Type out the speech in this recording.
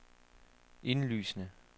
indlysende